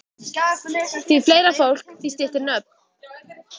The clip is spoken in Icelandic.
Því fleira fólk, því styttri nöfn.